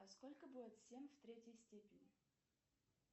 а сколько будет семь в третьей степени